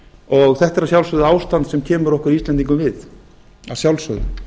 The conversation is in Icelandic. og þetta er að sjálfsögðu ástand sem kemur okkur íslendingum við að sjálfsögðu